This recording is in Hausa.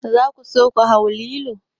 Za ku so ku hau lilo?